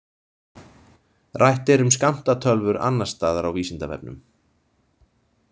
Rætt er um skammtatölvur annars staðar á Vísindavefnum.